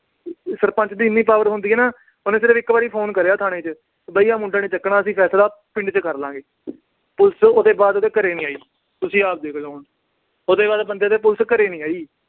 ਸਰਪੰਚ ਦੀ ਇੰਨੀ power ਹੁੰਦੀ ਆ ਨਾ, ਉਹਨੇ ਸਿਰਫ ਇੱਕ ਵਾਰੀ phone ਕਰਿਆ ਥਾਣੇ ਚ ਵੀ ਆਹ ਮੁੰਡਾ ਨੀ ਚੱਕਣਾ, ਅਸੀਂ ਫੈਸਲਾ ਪਿੰਡ ਚ ਕਰ ਲਾਂਗੇ। police ਉਹਦੇ ਬਾਅਦ ਉਹਦੇ ਘਰੇ ਨੀ ਆਈ, ਤੁਸੀਂ ਆਪ ਦੇਖ ਲੋ ਹੁਣ। ਉਹਦੇ ਬਾਅਦ ਬੰਦੇ ਦੇ police ਘਰੇ ਨੀ ਆਈ।